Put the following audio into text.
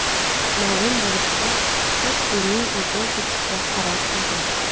Ma’lum bo‘lishicha, Tottining o‘zi ketishga qaror qilgan.